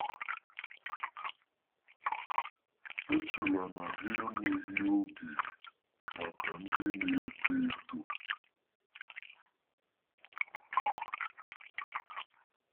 Echela na ha enweghị oge maka ndị na-eto eto.